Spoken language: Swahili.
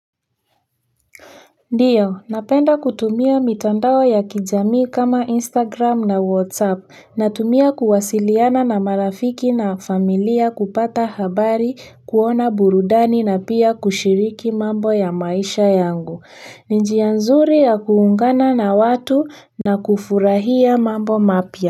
Ndiyo, napenda kutumia mitandao ya kijamii kama Instagram na WhatsApp. Natumia kuwasiliana na marafiki na familia, kupata habari, kuona burudani na pia kushiriki mambo ya maisha yangu. Ni njia nzuri ya kuungana na watu na kufurahia mambo mapya.